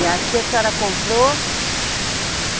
E aqui a senhora comprou.